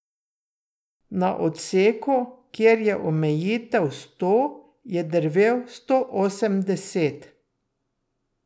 Na odseku, kjer je omejitev sto, je drvel sto osemdeset.